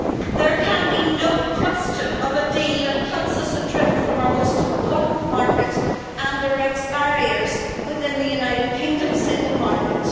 There can be no question of a deal that cuts us adrift from our most important market and erects barriers within the United Kingdom single market.